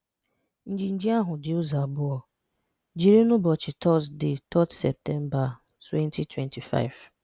Njinji ahụ dị ụzọ abụọ, jiri n'ụbọchị Tọzde 3 Septemba, 2025.